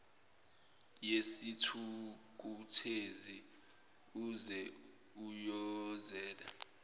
yesithukuthezi useze uyozela